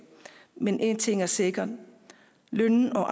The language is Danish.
men én ting er sikker lønnen og